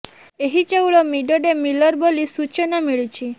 ଏହି ଚାଉଳ mid day ମିଲର ବୋଲି ସୂଚନା ମିଳିଛି